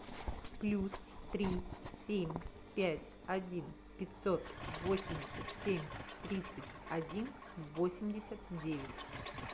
плюс три семь пять один пятьсот восемьдесят семь тридцать один восемьдесят девять